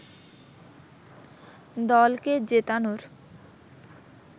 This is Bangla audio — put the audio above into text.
দলকে জেতানোর